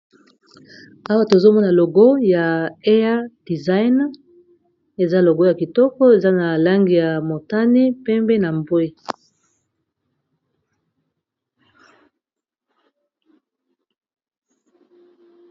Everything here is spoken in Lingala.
Awa, tozomona logo ya air design. Eza logo ya kitoko eza na langi ya motani, pembe na mbwe.